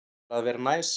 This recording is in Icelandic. Bara að vera næs.